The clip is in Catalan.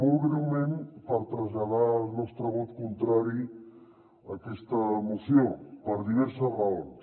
molt breument per traslladar el nostre vot contrari a aquesta moció per diverses raons